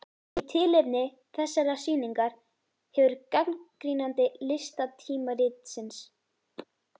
Í tilefni þessarar sýningar hefur gagnrýnandi listatímaritsins